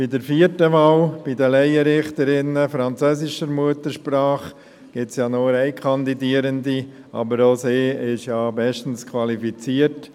Bei der vierten Wahl, bei den Laienrichterinnen französischer Muttersprache, gibt es ja nur eine Kandidierende, aber auch sie ist bestens qualifiziert.